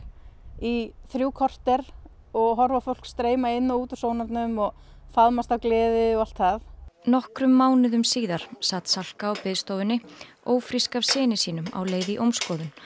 í þrjú korter og horfa upp á fólk streyma inn og út úr sónarnum og faðmast af gleði og allt það nokkrum mánuðum síðar sat Salka á biðstofunni ófrísk af syni sínum á leið í ómskoðun